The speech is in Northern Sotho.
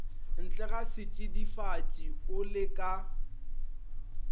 ntlega setšidifatši o le ka